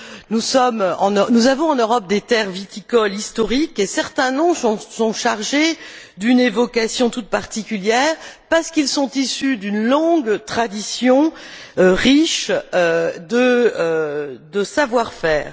Nous avons en Europe des terres viticoles historiques et certains noms sont chargés d'une évocation toute particulière, parce qu'ils sont issus d'une longue tradition riche de savoir faire.